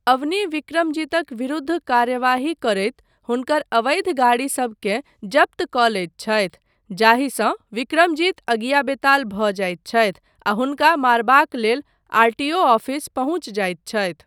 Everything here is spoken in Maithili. अवनी विक्रमजीतक विरुद्ध कार्यवाही करैत हुनकर अवैध गाड़ी सबकेँ जब्त कऽ लैत छथि, जाहिसँ विक्रमजीत अगियाबेताल भऽ जाइत छथि आ हुनका मारबाक लेल आरटीओ आफिस पहुँचि जाइत छथि।